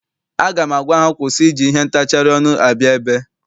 Aga m agwa ha kwụsị iji ihe ntacharị ọnụ abịa ebe!